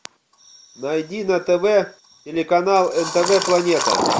найди на тв телеканал нтв планета